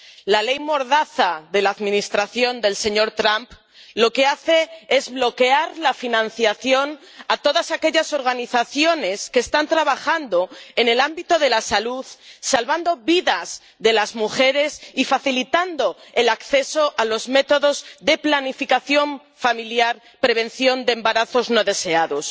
La ley mordaza de la Administración del señor Trump lo que hace es bloquear la financiación de todas aquellas organizaciones que están trabajando en el ámbito de la salud, salvando vidas de mujeres y facilitando el acceso a los métodos de planificación familiar —prevención de embarazos no deseados—.